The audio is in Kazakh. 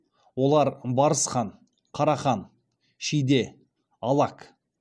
олар барысхан қарахан шиде алак